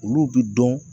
Olu bi dɔn